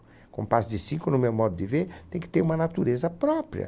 O compasso de cinco, no meu modo de ver, tem que ter uma natureza própria.